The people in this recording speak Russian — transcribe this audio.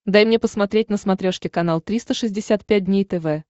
дай мне посмотреть на смотрешке канал триста шестьдесят пять дней тв